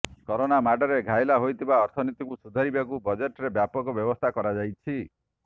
corona ମାଡ଼ରେ ଘାଇଲା ହୋଇଥିବା ଅର୍ଥନୀତିକୁ ସୁଧାରିବାକୁ ବଜେଟ୍ରେ ବ୍ୟାପକ ବ୍ୟବସ୍ଥା କରାଯାଇଛି